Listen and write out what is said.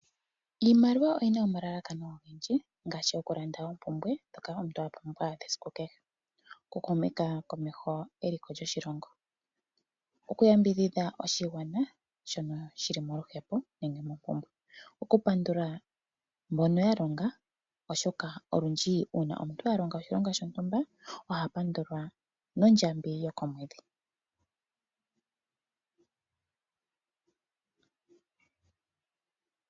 Iimaliwa oyi na omalalakano ogendji, ngaashi oku landa oompumbwe dhoka omuntu a pumbwa dhesiku kehe, oku humitha komeho eliko lyoshilongo, oku yambidhidha oshigwana shono shili moluhepo, nenge moompumbwe. Okupandula mbono ya longa, oshoka olundji uuna omuntu a longa oshilonga shontumba oha pandulwa, nondjambi ye yokomwedhi.